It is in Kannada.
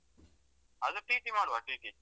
ಅದು TT ಮಾಡುವ TT .